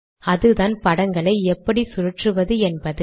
அதுதான் படங்களை எப்படி சுழற்றுவது என்பது